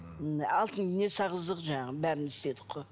алтын ине салғыздық жаңағы бәрін істедік қой